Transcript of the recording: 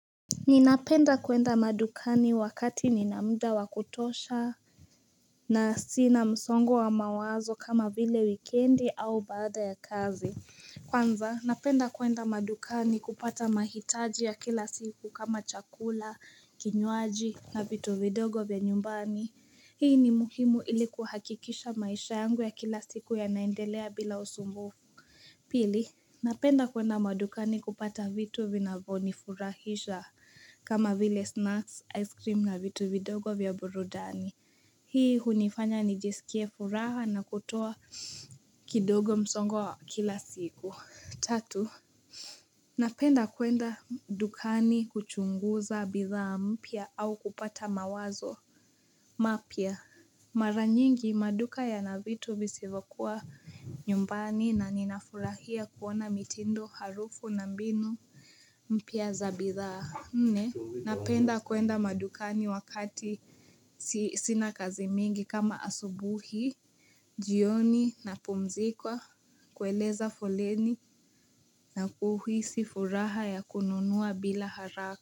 Ninapenda kwenda madukani wakati nina muda wa kutosha na si na msongo wa mawazo kama vile wikendi au baada ya kazi Kwanza, napenda kwenda madukani kupata mahitaji ya kila siku kama chakula, kinyuaji na vitu vidogo vya nyumbani Hii ni muhimu ili kuhakikisha maisha yangu ya kila siku yanaendelea bila usumbufu Pili, napenda kwenda madukani kupata vitu vinavyonifurahisha kama vile snacks, ice cream na vitu vidogo vya burudani Hii hunifanya nijisikie furaha na kutoa kidogo msongo wa kila siku Tatu, napenda kwenda dukani kuchunguza bidhaa mpya au kupata mawazo mapya Mara nyingi maduka yana vitu visivyokuwa nyumbani na ninafurahia kuona mitindo harufu na mbinu mpya za bidhaa nne, napenda kwenda madukani wakati sina kazi mingi kama asubuhi, jioni napumzikwa, kueleza foleni na kuhisi furaha ya kununua bila haraka.